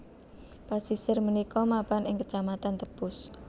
Pasisir punika mapan ing kecamatan Tepus